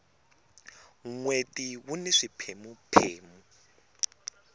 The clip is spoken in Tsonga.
nweti wuni swipheme phemu